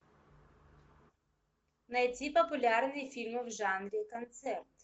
найти популярные фильмы в жанре концерт